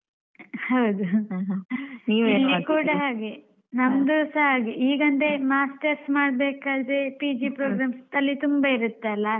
ಹೌದು ಇಲ್ಲಿ ಕೂಡ ಹಾಗೆ ನಂದುಸ ಹಾಗೆ ಈಗಂದ್ರೆ Masters ಮಾಡ್ಬೇಕಾದ್ರೆ PG program ತಲೆ ತುಂಬ ಇರುತ್ತೆ ಅಲ್ಲ.